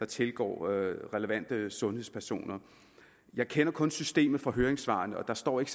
tilgår relevante sundhedspersoner jeg kender kun systemet fra høringssvarene og der står ikke